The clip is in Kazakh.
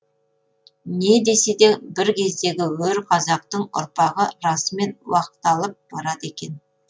не десе де бір кездегі өр қазақтың ұрпағы расымен уақталып барады екен